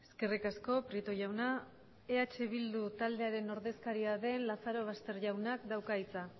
eskerrik asko prieto jauna eh bildu taldearen ordezkaria den lazarobaster jaunak dauka hitza